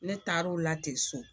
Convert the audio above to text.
Ne taar'o la ten so